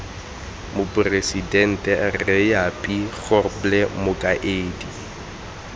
moporesidente rre japie grobler mokaedi